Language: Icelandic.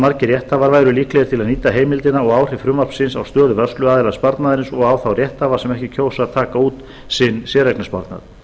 margir rétthafar væru líklegir til að nýta heimildina og áhrif frumvarpsins á stöðu vörsluaðila sparnaðarins og á þá rétthafa sem ekki kjósa að taka út sinn séreignarsparnað